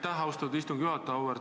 Aitäh, austatud istungi juhataja!